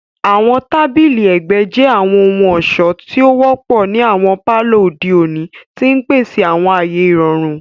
Àwọn tabili ẹgbẹ jẹ àwọn ohun-ọṣọ ti o wọpọ ni awọn palọ ode oni, ti n pese awọn aaye irọrun.